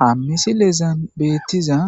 hammisilezan beettiza